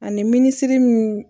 Ani minisiri min